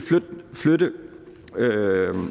flytte